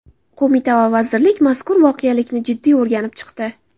Qo‘mita va vazirlik mazkur voqelikni jiddiy o‘rganib chiqdi.